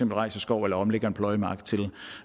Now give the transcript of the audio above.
rejser skov eller omlægger en pløjemark til